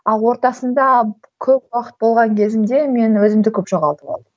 ал ортасында көп уақыт болған кезімде мен өзімді көп жоғалтып алдым